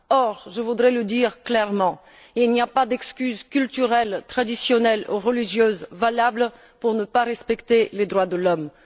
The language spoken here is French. Or, je voudrais le dire clairement, il n'y a pas d'excuse culturelle, traditionnelle ou religieuse valable pour ne pas respecter les droits de l'homme.